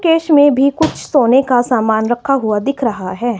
Case में भी कुछ सोने का सामना रखा हुआ दिख रहा हैं।